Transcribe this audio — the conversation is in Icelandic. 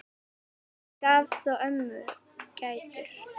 Hann gaf þó ömmu gætur.